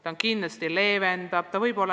Tehnoloogia kindlasti leevendab olukorda.